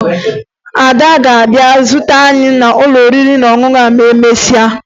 Ada ga-abịa zute anyị n'ụlọ oriri na ọṅụṅụ ma emesịa